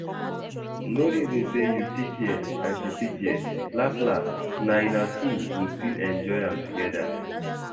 No reason say you pick here and she pick there, las las na una two go still enjoy am together